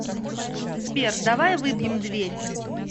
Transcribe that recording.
сбер давай выбьем дверь